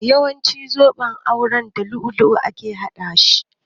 Yawancin zuben aure da dutsen lu'ulu'u ake haɗa shi